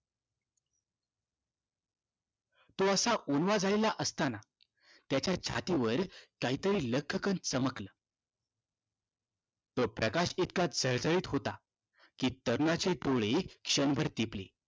तो असा ओंडवा झालेला असताना त्याच्या छातीवर काहीतरी लख्खकन चमकलं. तो प्रकाश इतका चळचळीत होता की तरुणाचे डोळे क्षणभर दिपले.